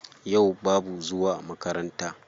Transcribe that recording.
Yau babu zuwa makaranta.